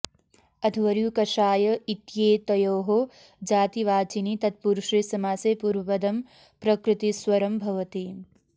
अध्वर्यु कषाय इत्येतयोः जातिवाचिनि तत्पुरुषे समासे पूर्वपदं प्रकृतिस्वरं भवति